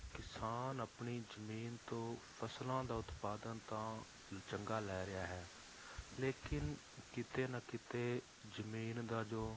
ਕਿਸਾਨ ਆਪਣੀ ਜ਼ਮੀਨ ਤੋਂ ਫਸਲਾਂ ਦਾ ਉਤਪਾਦਨ ਤਾਂ ਚੰਗਾ ਲੈ ਰਿਹਾ ਹੈ ਲੇਕਿੰਨ ਕਿਤੇ ਨਾ ਕਿਤੇ ਜ਼ਮੀਨ ਦਾ ਜੋ